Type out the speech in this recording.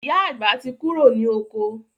Ìyá àgbà tí kúrò ní oko